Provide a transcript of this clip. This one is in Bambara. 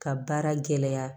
Ka baara gɛlɛya